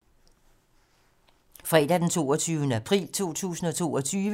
Fredag d. 22. april 2022